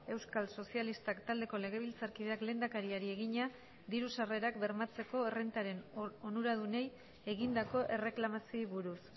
euskal sozialistak taldeko legebiltzarkideak lehendakariari egina diru sarrerak bermatzeko errentaren onuradunei egindako erreklamazioei buruz